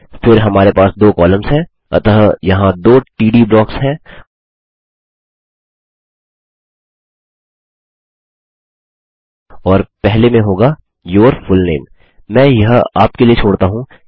फिर हमारे पास दो कॉलम्स है अतः यहाँ दो टीडी ब्लॉक्स हैं और पहले में होगा यूर फुलनेम मैं यह आपके लिए छोड़ता हूँ